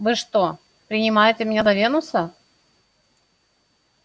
вы что принимаете меня за венуса